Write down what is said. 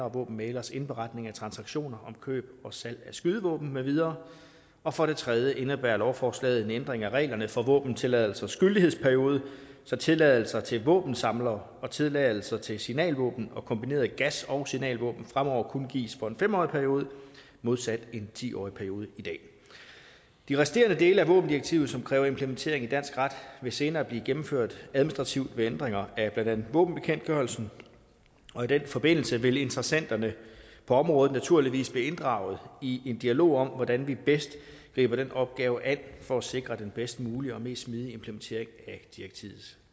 og våbenmægleres indberetning af transaktioner om køb og salg af skydevåben med videre og for det tredje indebærer lovforslaget en ændring af reglerne for våbentilladelsers gyldighedsperiode så tilladelser til våbensamlere og tilladelser til signalvåben og kombinerede gas og signalvåben fremover kun gives for en fem årig periode modsat en ti årig periode i dag de resterende dele af våbendirektivet som kræver implementering i dansk ret vil senere blive gennemført administrativt ved ændringer af blandt andet våbenbekendtgørelsen og i den forbindelse vil interessenterne på området naturligvis blive inddraget i en dialog om hvordan vi bedst griber den opgave an for at sikre den bedst mulige og mest smidige implementering af direktivets